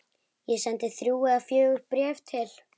Ég sendi þrjú eða fjögur bréf til